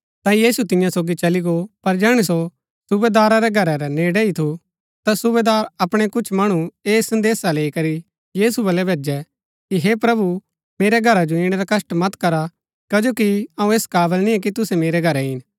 ता यीशु तियां सोगी चली गो पर जैहणै सो सुबेदारा रै घरा रै नजदीक ही थू ता सूबेदारै अपणै कुछ मणु ऐह संदेसा लैई करी यीशु बलै भैजै कि हे प्रभु मेरै घरा जो ईणै रा कष्‍ट मत करा कजो कि अऊँ ऐस काबल निय्आ कि तुसै मेरै घरै ईन